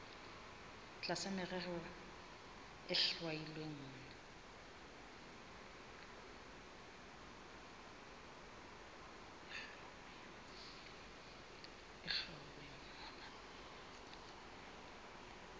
tlasa merero e hlwauweng mona